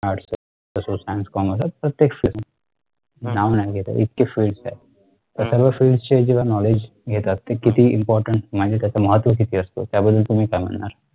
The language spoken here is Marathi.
तसेच science commerce प्रत्येक FIELD नाव नाही घेता येत इतके FIELDS आहेत. त्या सर्व FIELDS चे जेव्हा KNOWLEDGE घेतात ते किती IMPORTANT म्हणजे त्याच महत्व किती असत त्याबद्दल तुम्ही समजणार